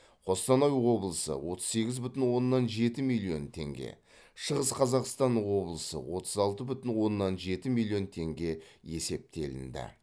қостанай облысы отыз сегіз бүтін оннан жеті миллион теңге шығыс қазақстан облысы отыз алты бүтін оннан жеті миллион теңге есептелінді